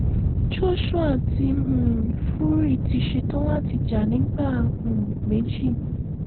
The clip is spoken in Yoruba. joshua àti um fury ti ṣetán láti jà nígbà um méjì